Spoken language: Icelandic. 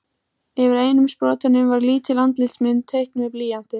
Yfir einum sprotanum var lítil andlitsmynd teiknuð með blýanti.